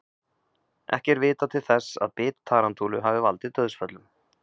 Ekki er vitað til þess að bit tarantúlu hafi valdið dauðsföllum.